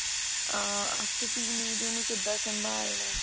ah ਤੇ teen ager ਨੂੰ ਕਿਦਾਂ ਸੰਭਾਲਣਾ